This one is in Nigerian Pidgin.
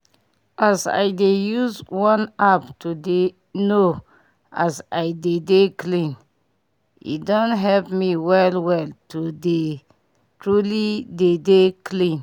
as i dey use one app to dey know as i dey dey clean e don help me well well to dey truly dey dey clean